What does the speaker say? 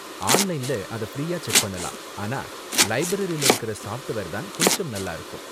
ஆன்லைன்ல அத ஃப்ரீயா செக் பண்ணலாம், ஆனா லைப்ரரில இருக்குற சாஃப்ட்வேர் தான் கொஞ்சம் நல்லா இருக்கும்.